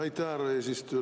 Aitäh, härra eesistuja!